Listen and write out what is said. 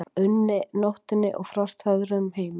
unni, nóttinni og frosthörðum heimi.